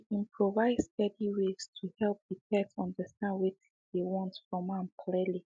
he been provide steady ways to help the pet understand wetin dey want from am clearly